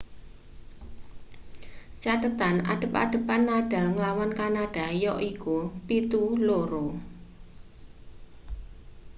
cathethan adhep-adhepan nadal nglawan kanada yaiku 7-2